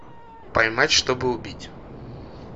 поймать чтобы убить